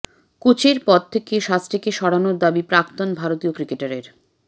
কোচের পদ থেকে শাস্ত্রীকে সরানোর দাবি প্রাক্তন ভারতীয় ক্রিকেটারের